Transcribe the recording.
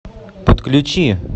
подключи